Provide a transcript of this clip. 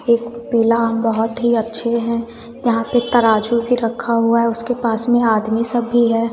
एक पीला आम बहुत ही अच्छे हैं यहां पे तराजू भी रखा हुआ है उसके पास में आदमी सब भी है।